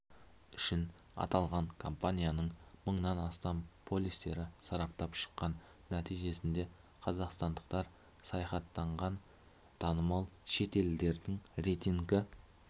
үшін аталған компания мыңнан астам полистерді сараптап шыққан нәтижесінде қазақстандықтар саяхаттаған танымал шет елдердің рейтінгі